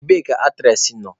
Ebee ka aktres nọ?